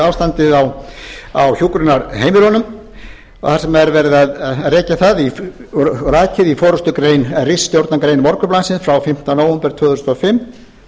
ástandið á hjúkrunarheimilunum og þar sem er verið að rekja það og rakið í ritstjórnargrein morgunblaðsins frá fimmta nóvember tvö þúsund og fimm